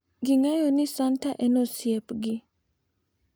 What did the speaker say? Ging`eyo ni santa en osiepgi.